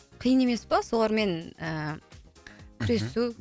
қиын емес па солармен ііі мхм күресу